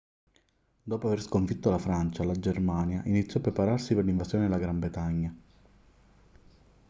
dopo aver sconfitto la francia la germania iniziò a prepararsi per l'invasione della gran bretagna